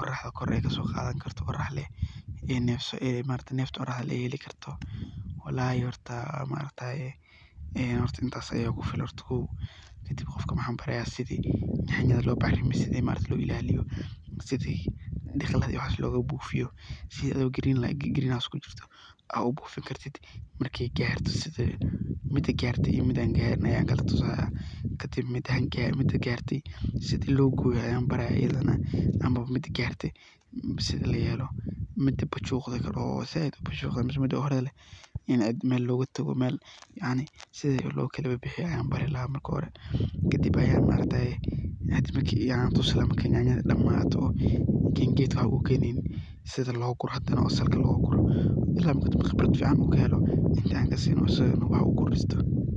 ,oraxda kor ay kaso qadan karto oo nefta oraxdo lee heli karto ,walahi maaragtaye intas aya igu filan kow ,qofka waxan bari lahaa oo kale qiyas sidhi yanyada loo bacrimiyo, yanyada loo ilaliyo ,sidhi diqladha iyo waxas loga bufiyo oo green house aa u bufin kartid markey garto kadib aa kadib mida garte iyo mida an garin ayan baraya sidha layelo ,sidha loo goyoo mida garte ,mida zaid u bujugde ,sidha loo kala bixiyo ayan bari lahaa, sidhaa gedka loguro oo salka loga goyo ila khibraad fican u helo ayan bari laha.